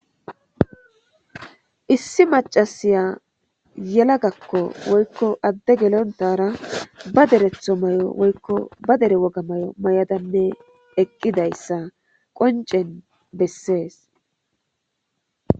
Issi macasiya alaggako woyiko adde gelonara baa derethomayo woyikko baa derre wogani mayo mayada eqidayis qonicessi besses.